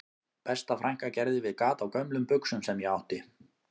Besta frænka gerði við gat á gömlum buxum sem ég átti